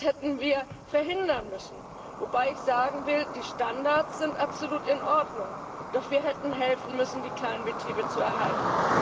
Das hätten wir verhindern müssen. Wobei ich sagen will Die Standards sind absolut in Ordnung, doch wir hätten helfen müssen, die kleinen Betriebe zu erhalten.